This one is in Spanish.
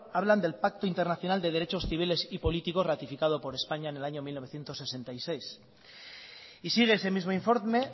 hablan del pacto internacional de derechos civiles y políticos ratificado por españa en el año mil novecientos sesenta y seis y sigue ese mismo informe